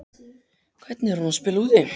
Hvernig er hún að spila úti?